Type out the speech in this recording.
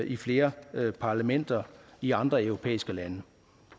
i flere parlamenter i andre europæiske lande